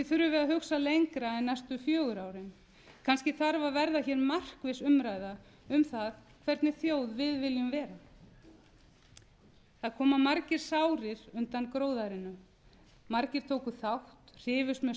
við að hugsa lengra en næstu fjögur árin kannski þarf að verða hér markviss umræða um það hvernig þjóð við viljum vera það koma margir sárir undan gróðærinu margir tóku þátt hrifust með straumnum